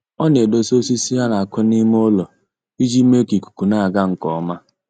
Ọ na-edosa osisi a na-akụ n'ime ụlọ iji mee ka ikuku na-aga nke ọma